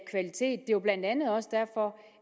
jo blandt andet også derfor